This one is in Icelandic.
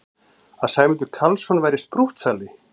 Að Sæmundur Karlsson væri sprúttsali!